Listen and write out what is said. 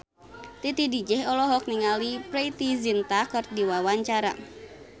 Titi DJ olohok ningali Preity Zinta keur diwawancara